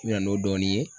N bɛ na n'o dɔɔnin ye